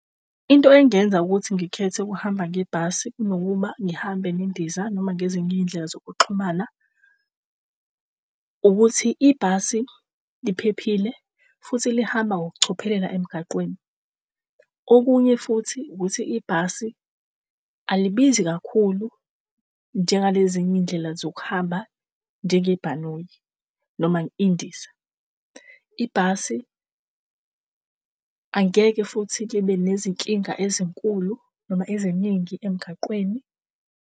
Into engenza ukuthi ngikhethe ukuhamba ngebhasi kunokuba ngihambe nendiza noma ngezinye iy'ndlela zokuxhumana ukuthi ibhasi liphephile futhi lihamba ngokucophelela emgaqweni. Okunye futhi ukuthi ibhasi alibizi kakhulu njengalezinye izindlela zokuhamba njengebhanoyi noma indiza. Ibhasi angeke futhi libe nezinkinga ezinkulu noma eziningi emgaqweni.